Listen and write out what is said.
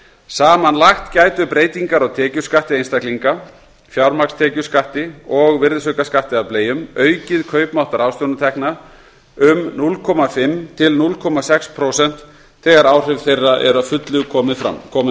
samanlagt gætu breytingar á tekjuskatti einstaklinga fjármagnstekjuskatti og virðisaukaskatti af bleium aukið kaupmátt ráðstöfunartekna um núll fimm til núll komma sex prósent þegar áhrif þeirra eru að fullu komin